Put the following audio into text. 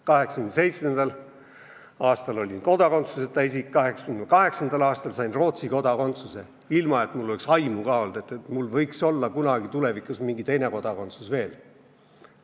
1987. aastal olin kodakondsuseta isik, 1988. aastal sain Rootsi kodakondsuse, ilma et mul oleks mõtet ka olnud, et mul võiks olla kunagi tulevikus mingi teine kodakondsus veel.